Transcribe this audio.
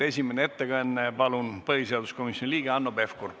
Esimene ettekanne on põhiseaduskomisjoni liikmelt Hanno Pevkurilt.